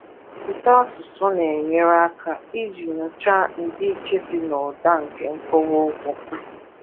Ụtọasụsụ na-enyere aka iji nyochaa ndịiche dị n’ụda na nkọwa okwu